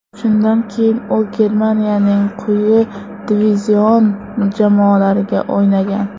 Shundan keyin u Germaniyaning quyi divizion jamoalariga o‘ynagan.